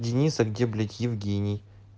денис а где блять евгений